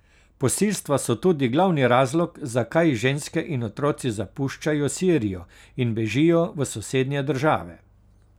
Posilstva so tudi glavni razlog, zakaj ženske in otroci zapuščajo Sirijo in bežijo v sosednje države.